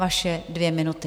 Vaše dvě minuty.